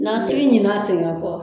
Na sigi ɲini ka segin ka fɔ.